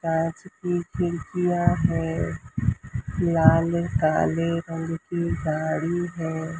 कांच की खिड़कियां है लाल काले रंग की गाड़ी है।